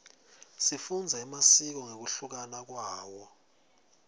sifundza emasiko ngekuhluka kwawo